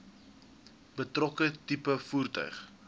betrokke tipe voertuig